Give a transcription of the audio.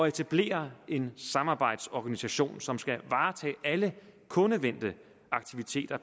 etablere en samarbejdsorganisation som skal varetage alle kundevendte aktiviteter